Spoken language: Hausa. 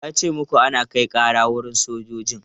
Wa ya ce muku ana kai ƙara wurin sojoji?